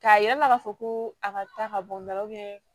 K'a yir'a la k'a fɔ ko a ka ta ka bɔ n ka